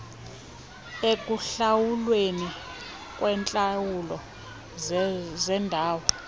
ekuhlawulweni kweentlawulo zendawo